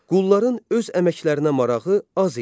Qulların öz əməklərinə marağı az idi.